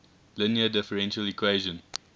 linear differential equation